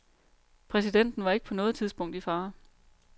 Præsidenten var ikke på noget tidspunkt i fare.